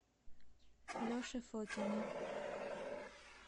леше фокине